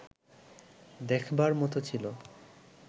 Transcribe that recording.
দেখবার মতো ছিল